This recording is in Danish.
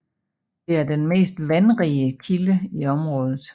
Den er den mest vandrige kilde i området